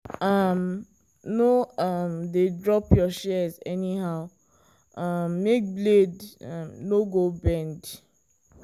no um dey drop your shears anyhow um make blade um no go bend.